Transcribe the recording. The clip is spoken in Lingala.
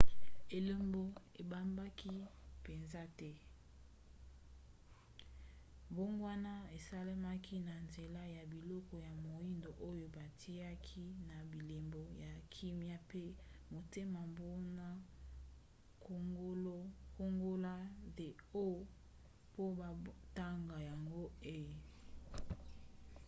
elembo ebebaki mpenza te; mbongwana esalemaki na nzela ya biloko ya moindo oyo bitiaki na bilembo ya kimia pe motema mpona kongola the o po batanga yango e